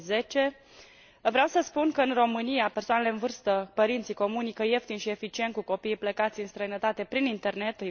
2010. Vreau să spun că, în România, persoanele în vârstă, părinții comunică ieftin și eficient cu copiii plecați în străinătate prin internet